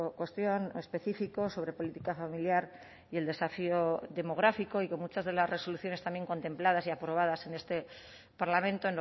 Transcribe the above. cuestión específico sobre política familiar y el desafío demográfico y que muchas de las resoluciones también contempladas y aprobadas en este parlamento